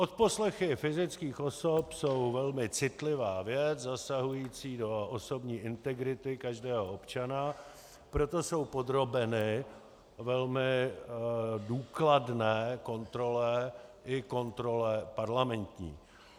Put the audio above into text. Odposlechy fyzických osob jsou velmi citlivá věc zasahující do osobní integrity každého občana, proto jsou podrobeny velmi důkladné kontrole, i kontrole parlamentní.